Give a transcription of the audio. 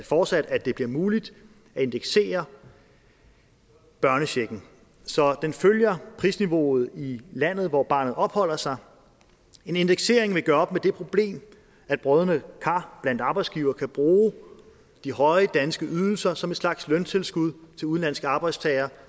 fortsat at det bliver muligt at indeksere børnechecken så den følger prisniveauet i landet hvor barnet opholder sig en indeksering vil gøre op med det problem at brodne kar blandt arbejdsgivere kan bruge de høje danske ydelser som en slags løntilskud til udenlandske arbejdstagere